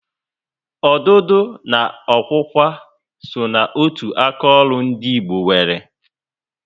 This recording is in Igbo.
Ọdụdụ na okwukwa só na otu aka ọrụ ndị Igbo nwéré